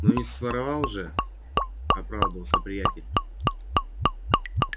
но не своровал же оправдывался приятель